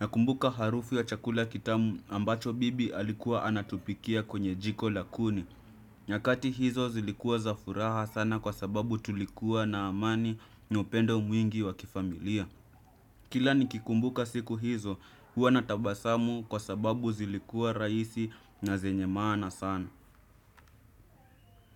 nakumbuka harufu ya chakula kitamu ambacho bibi alikuwa anatupikia kwenye jiko la kuni. Nyakati hizo zilikua za furaha sana kwa sababu tulikuwa na amani na upendo mwingi wa kifamilia. Kila nikikumbuka siku hizo huwa na tabasamu kwa sababu zilikua rahisi na zenye maana sana.